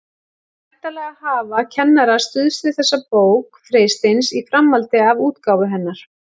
Væntanlega hafa kennarar stuðst við þessa bók Freysteins í framhaldi af útgáfu hennar.